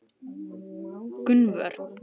Gunnvör